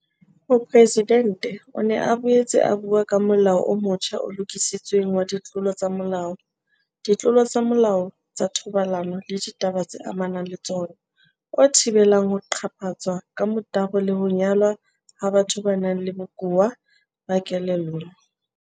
Mopresidente o ne a boetse a bua ka Molao o motjha o Lokisitsweng wa Ditlolo tsa Molao, Ditlolo tsa Molao tsa Thobalano le Ditaba tse Amanang le Tsona, o thibelang ho qaphatswa ka motabo le ho nyalwa ha batho ba nang le bokowa ba kelello.